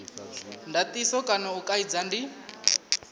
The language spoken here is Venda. ndatiso kana u kaidza ndi